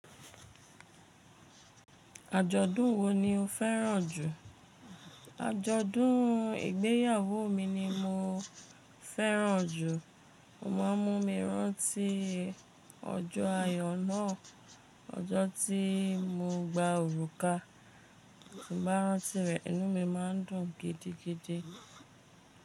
Ajọ̀dún wo ni o fẹ́ràn jù? Ajọ̀dún ìgbéyàwó mi ni mo fẹ́ràn jù. Mo máa ń mú mi rántí ọjọ́ ayọ̀ náà, ọjọ́ tí mo gba òrùka. Tí n bá rántí rẹ̀, inú mi máa ń dùn gidigidi.